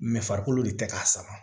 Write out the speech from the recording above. mɛ farikolo de tɛ k'a sama